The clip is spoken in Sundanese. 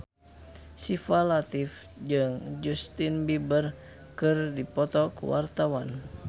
Syifa Latief jeung Justin Beiber keur dipoto ku wartawan